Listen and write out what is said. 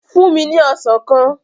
Fúnni ní Ọsàn kan!